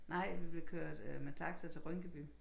Nej vi blev kørt med taxa til Rynkeby